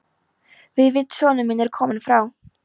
Vífill sonur minn er kominn frá